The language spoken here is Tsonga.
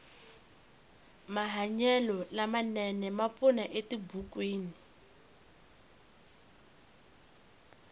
mahanyelo lama nene ma pfuna etibukwini